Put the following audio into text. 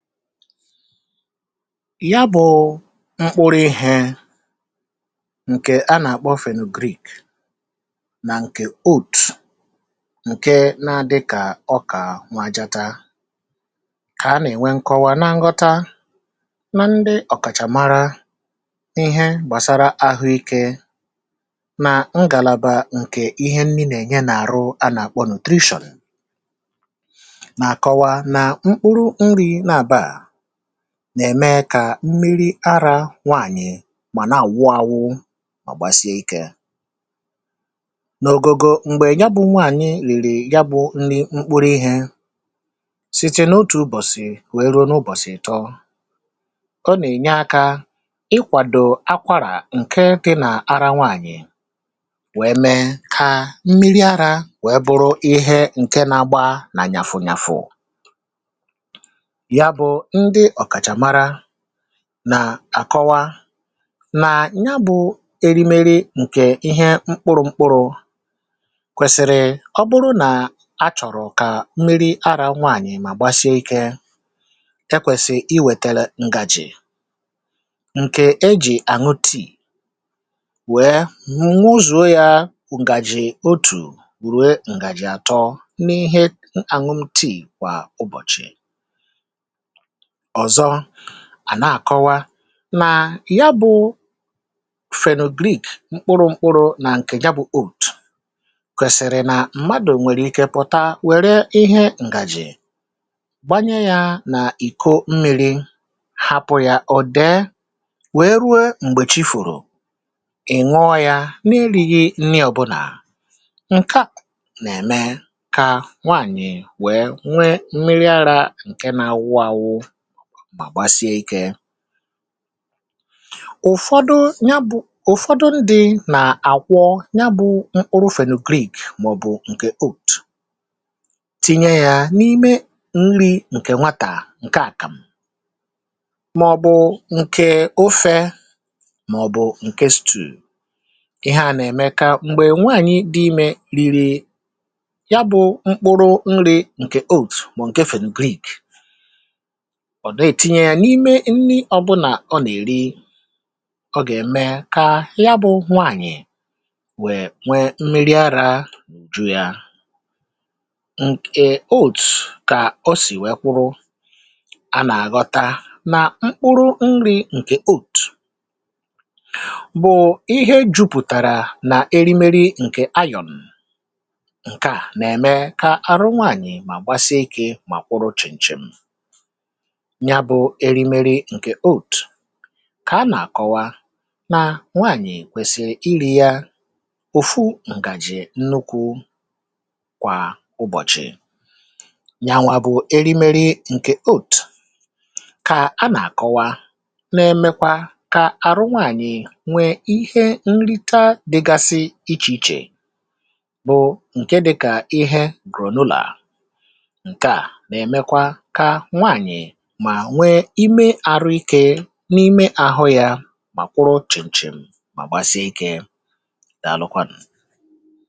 ya bụ̇ mkpụrụ ihė ǹkè a nà-àkpọ fenyelik nà ǹkè oat ǹke na-adị kà ọ kà nwajata kà a nà-ènwe nkọwa na nghọta um na ndị ọ̀kàchàmara ihe gbàsara ahụikė nà ngàlàbà ǹkè ihe nni nà-ènye nà-àrụ a nà-àkpọ hydration nà-ème kà mmiri arȧ nwaànyị̀ mà na-àwụ awụ mà ọ̀gbàsịe ikė n’ògògò m̀gbè ya bụ̇ nwaànyị̀ rìrì ya bụ̇ nrị mkpụrụ ihė site n’otù ụbọ̀sị̀ wèe ruo n’ụbọ̀sị̀ tọ ọ nà-ènye akȧ ịkwàdò akwarà ǹke dị n’ara nwaànyị̀ wèe mee kà mmiri arȧ wèe bụrụ um ọhẹ ǹke nȧgba nà nyàfùnyàfù nà àkọwa nà nya bụ̇ erimeri ǹkè ihe mkpụrụ̇ mkpụrụ̇ kwèsị̀rị̀ ọ bụrụ nà a chọ̀rọ̀ kà mmiri arȧ nwaànyị̀ mà gbasie ikė ekwèsị̀ i wètere ǹgàjì ǹkè ejì àṅụ tìi wèe ǹu ụzụ̀ ya ǹgàjì otù ruo ǹgàjì àtọ n’ihe ànụm tìi kwà ụbọ̀chị̀ ọ̀zọ à na-àkọwa nà ya bụ̇ fenogrik mkpụrụ mkpụrụ nà ǹkè ya bụ̇ oath kwèsìrì nà mmadụ̀ nwèrè ike pụ̀ta wère ihe ǹgàjì gbanye yȧ nà ìko mmi̇ri̇ hapụ̇ yȧ ọ̀ dè wèe rue m̀gbèchi fụ̀rụ̀ ì ṅụọ yȧ n’ilighi nni ọ̀bụnà ǹka um nà-ème kà nwaànyị̀ wèe nwe mmiri arȧ ǹke nȧ-ȧwụ ȧwụ̇ mà gbasie ike ụ̀fọdụ ya bụ̀ ụ̀fọdụ ndị̇ nà àkwọ ya bụ̇ mkpụrụ fankit mà ọ̀ bụ̀ ǹkè oat tinye yȧ n’ime nri ǹkè nwatà ǹke àkàmụ̀ mà ọ̀ bụ̀ ǹkè ofe mà ọ̀ bụ̀ ǹkè stew ihe à nà-ème ka m̀gbè nwaànyị dị imė riri ya bụ̇ mkpụrụ̇ nri ǹkè oat mà ǹke fankit ọ̀ dị̀ ètinye yȧ n’ime nni ọ̀bụnà ọ nà-èri ọ gà-ème kà ya bụ̇ nwaànyị̀ wèe nwee n’imėrì arȧ ju̇ia ǹkè olt kà o sì wèe kwụrụ a nà-àgọta nà mkpụrụ nrị̇ ǹkè olt bụ̀ ihe jupùtàrà nà erimeri ǹkè ayọ̀n ǹkèà nà-ème kà arụ nwaànyị̀ mà gbasịa ikė mà kwụrụ chìǹchìm ya bụ̇ erimeri ǹkè oat kà a nà-àkọwa na nwaànyị̀ kwèsị̀ irì ya òfu ǹgàjì nnukwu kwà ụbọ̀chị̀ ya nwa bụ̇ erimeri ǹkè oat kà a nà-àkọwa um na-emekwa kà àrụ nwaànyị̀ nwee ihe nrịta dịgasi ichè ichè bụ̀ ǹke dịkà ihe ruo n’ụlọ̀ à nke à nà-èmekwa ka nwaànyị̀ n’ime àhụ yȧ mà kwụrụ ọ̀chìchìm mà gbasie ikė dàalụkwanụ̀